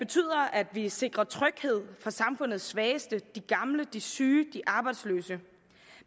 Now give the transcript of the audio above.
at vi sikrer tryghed for samfundets svageste de gamle de syge de arbejdsløse